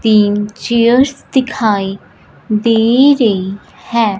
तीन चेयर्स दिखाई दे रही हैं।